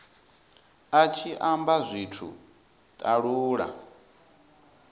a tshi amba zwithu talula